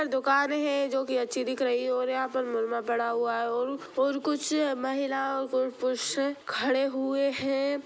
दुकान है जोकी अच्छी दिख रही है और यहाँ पर मालवा पड़ा हुआ है और कुछ महिलाएं को खड़े हुए है।